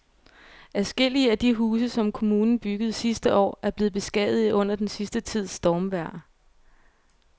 Adskillige af de huse, som kommunen byggede sidste år, er blevet beskadiget under den sidste tids stormvejr.